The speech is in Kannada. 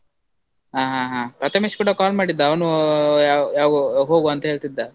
ಹಾ ಹಾ ಹಾ, ಪ್ರಥಮೇಶ್ ಕೂಡ call ಮಾಡಿದ್ದ, ಅವನೂ ಯಾವ್~ ಯಾವಾಗ ಹೋಗ್ವ ಅಂತ ಹೇಳ್ತಿದ್ದ.